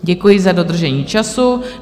Děkuji za dodržení času.